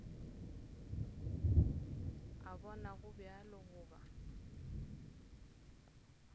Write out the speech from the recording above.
a bona go bjalo goba